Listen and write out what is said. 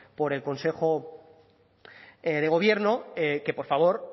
por el consejo de gobierno que por favor